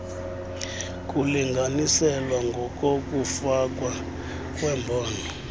kulinganiselwa ngokokufakwa kwembono